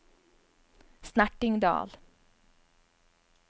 Snertingdal